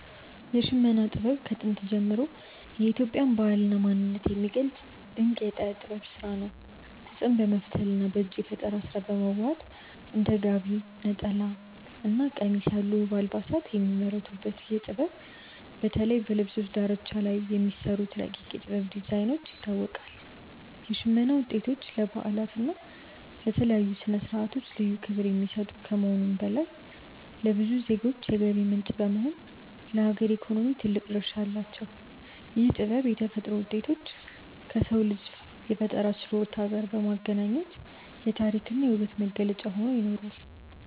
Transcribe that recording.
የሽመና ጥበብ ከጥንት ጀምሮ የኢትዮጵያን ባህልና ማንነት የሚገልጽ ድንቅ የእደ ጥበብ ስራ ነው። ጥጥን በመፍተልና በእጅ በፈጠራ በማዋሃድ እንደ ጋቢ፣ ነጠላና ቀሚስ ያሉ ውብ አልባሳት የሚመረቱበት ይህ ጥበብ፣ በተለይ በልብሶቹ ዳርቻ ላይ በሚሰሩት ረቂቅ የ"ጥበብ" ዲዛይኖች ይታወቃል። የሽመና ውጤቶች ለበዓላትና ለተለያዩ ስነ-ስርዓቶች ልዩ ክብር የሚሰጡ ከመሆኑም በላይ፣ ለብዙ ዜጎች የገቢ ምንጭ በመሆን ለሀገር ኢኮኖሚ ትልቅ ድርሻ አላቸው። ይህ ጥበብ የተፈጥሮ ውጤቶችን ከሰው ልጅ የፈጠራ ችሎታ ጋር በማገናኘት የታሪክና የውበት መገለጫ ሆኖ ይኖራል።